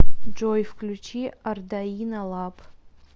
джой включи ардаино лаб